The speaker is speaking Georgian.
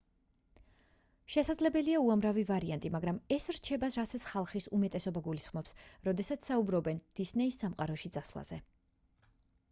შესაძლებელია უამრავი ვარიანტი მაგრამ ეს რჩება რასაც ხალხის უმეტესობა გულისხმობს როდესაც საუბრობენ დისნეის სამყაროში წასვლაზე